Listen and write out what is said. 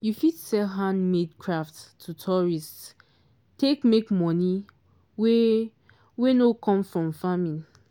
you fit sell hand-made craft to tourists take make money wey wey no come from farming.